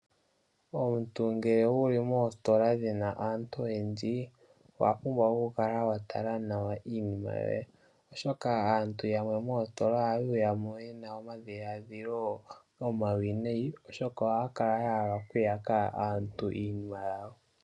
Omuntu ngele wuli moositola muna aantu oyendji, owa pumbwa oku kala wa tala nawa iinima yoye, oshoka aantu yamwe moositola ohaye yamo yena omadhiadhilo omawinayi, oshoka ohaya kala yahala oku yaka aantu iinima yawo.